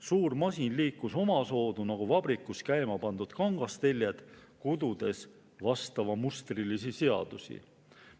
Suur masin liikus omasoodu nagu vabrikus käimapandud kangasteljed, kududes vastavamustrilisi seadusi.